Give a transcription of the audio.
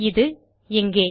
இது இங்கே